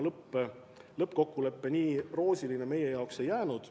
Lõppkokkulepe nii roosiline meie jaoks ei jäänud.